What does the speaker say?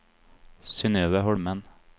Synøve Holmen